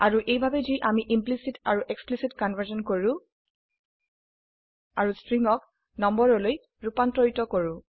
আৰু এইভাবে যি আমি ইমপ্লিসিট আাৰু এক্সপ্লিসিট কনভাৰ্সন কৰো আৰু স্ট্ৰিংক নম্বৰলৈ ৰুপান্তৰিত কৰো